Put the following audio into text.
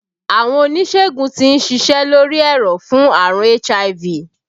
Àwọn oníṣègùn tí ń ṣiṣẹ́ lórí ẹ̀rọ̀ fún àrùn HIV